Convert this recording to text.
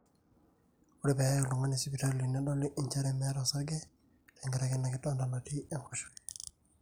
ore pee eyai oltung'ani sipitali nedoli njere meeta osarge tekaraki ina kidonda natii enkoshoke